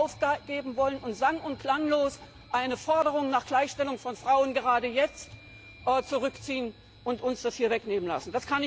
aufgeben wollen und sang und klanglos eine Forderung nach Gleichstellung von Frauen gerade jetzt zurückziehen und uns das hier wegnehmen lassen.